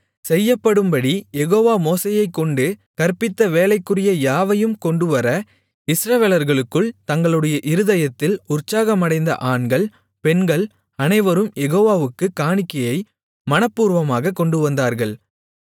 செய்யப்படும்படி Jehovah மோசேயைக்கொண்டு கற்பித்த வேலைக்குரிய யாவையும் கொண்டுவர இஸ்ரவேலர்களுக்குள் தங்களுடைய இருதயத்தில் உற்சாகமடைந்த ஆண்கள் பெண்கள் அனைவரும் யெகோவாவுக்குக் காணிக்கையை மனப்பூர்வமாக கொண்டுவந்தார்கள்